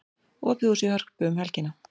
Opið hús í Hörpu um helgina